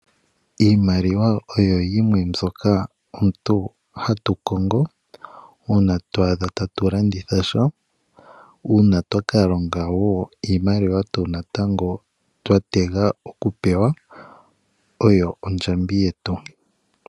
Iimaliwa oyo yimwe mbyoka omuntu hatu kongo uuna oto adha atulanditha sha , uuna twakalonga woo iimaliwa tuu natango twa tega oku pewa oyo ondjambi yetu.